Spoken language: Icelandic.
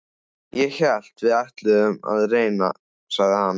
Ég hélt við ætluðum að reyna, sagði hann.